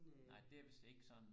nej det er vidst ikke sådan